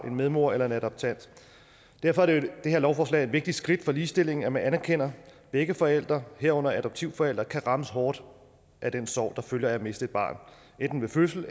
en medmor eller en adoptant derfor er det her lovforslag jo et vigtigt skridt for ligestillingen altså at man anerkender at begge forældre herunder adoptivforældre kan rammes hårdt af den sorg der følger af at miste et barn enten ved fødslen